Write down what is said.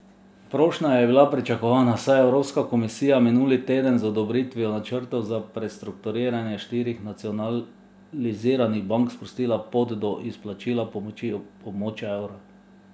Prošnja je bila pričakovana, saj je Evropska komisija minuli teden z odobritvijo načrtov za prestrukturiranje štirih nacionaliziranih bank sprostila pot do izplačila pomoči območja evra.